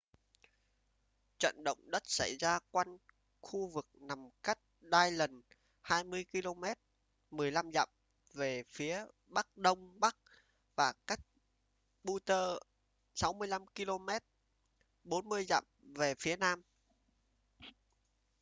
trận động đất xảy ra quanh khu vực nằm cách dillon 20 km 15 dặm về phía bắc-đông bắc và cách butte 65 km 40 dặm về phía nam